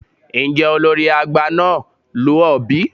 Njẹ olori agba naa lu ọ bi?